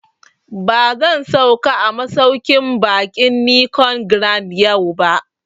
Ba zan sauka a masauƙin baƙin Nicon Grand yau ba